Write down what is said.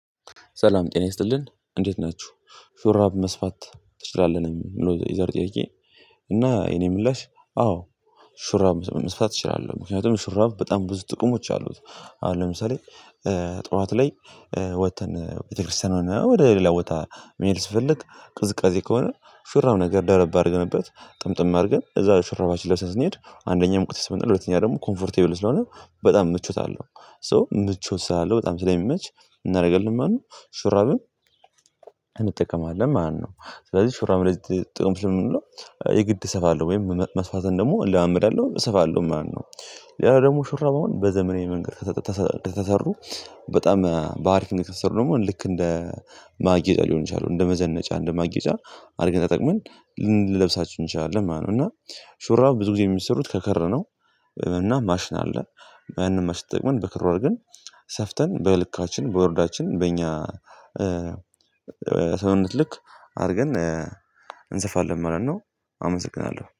ሰላም ጤና ይስጥልን እንዴት ናችሁ ሹራብ መስፋት ትችላህ ነው የዛሬው ጥያቄ? እና የኔ ምላሽ አዎ ሹራብ መስፍት እችላለሁ ምክንያቱም ሹራብ በጣም ብዙ ጥቅሞች አሉት። አሁን ለምሳሌ ጥዋት ላይ ወጥተን ቤተክርስቲያን ወደ ሌላ ቦታ ምሄድ ስንፈልግ ቅዝቃዜ ከሆነ መራብ ነገር ደረብ አድርገንበት ጥምጥም አድርገን እዛ መራባችን ለብሰን ስንሄድ አንደኛ ሙቀትይስባል ሁለተኛ ደግሞ ኮምፈርትቢል ስለሆነ በጣም ምቾት አለው ሶ ምቾት ስላለው በጣም ስለሚመች እናረጋለን ማለትነው ሹራብን እንጠቀማለን ማለትነው። ስለዚህ ሹራብ ለጥቅምት ስም ነው የግድ ሰፋለሁ ወይም መስፋት ዘንድ ደግሞ እለመምዳለሁ እሰፋለሁ ማለት ነው። ሌላ ደሞ ሹራቡን በዘመናዊ መንገድ ከተሰሩ በጣም በአሪፍ ነገር ከተሰሩ ደግሞ ልክ እንደ ማግየጫ ሊሆን ይችላል እንደ መዘነጫ እንደ ማግየጫ አርገን ተጠቅመን ልንለብሳቸው እንችላለን ማለት ነው። እና ሹራብ ብዙ ጊዜ የሚሰሩት ከክር ነው። እና ማሽን አለ። ያን ማሽን ተጠቅመን በክር አርገን ሰፍተን በልካችን በወርዳችን በእኛ ሰውነት ልክ አርገን እንሰፋለን ማለት ነው። አመሰግናለሁ